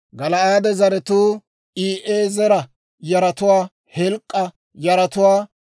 Gala'aade zaratuu I'eezera yaratuwaa, Heleek'a yaratuwaa,